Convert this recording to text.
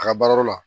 A ka baarayɔrɔ la